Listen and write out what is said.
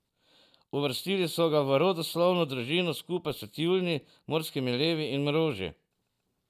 Uvrstili so ga v rodoslovno družino skupaj s tjuljni, morskimi levi in mroži.